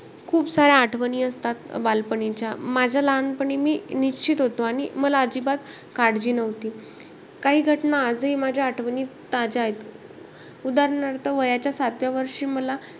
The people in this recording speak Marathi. खूप साऱ्या आठवणी असतात बालपणीच्या. माझ्या लहानपणी मी निश्चित होतो आणि मला अजिबात काळजी नव्हती. काही घटना मला आजही माझ्या आठवणीत ताज्या आहेत. उदाहरणार्थ वयाच्या सातव्या वर्षी मला,